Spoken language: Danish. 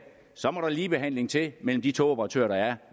må der ligebehandling til mellem de togoperatører der er